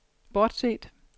bortset